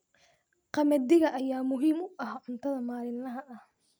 Qamadiga ayaa muhiim u ah cuntada maalinlaha ah.